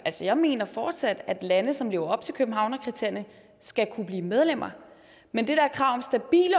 jeg mener fortsat at lande som lever op til københavnerkriterierne skal kunne blive medlemmer men det der krav